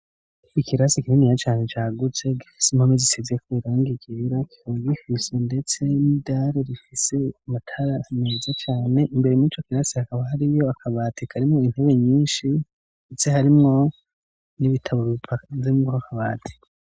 Ikirasi kininiya cane cagutse gifise impome zisize irangi ryera. Kikaba gifise ndetse n'idare rifise imatara meza cane imbere mico kirasi hakaba hariyo akabatika. Irimo intebe nyinshi ndetse harimo n'ibitabo bipazemo akabati.